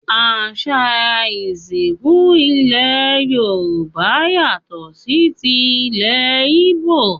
Àṣà ìsìnkú ilẹ̀ Yorùbá yàtọ̀ sí ti ìlẹ̀ Ìgbò